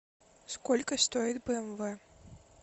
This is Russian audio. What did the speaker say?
сколько стоит бмв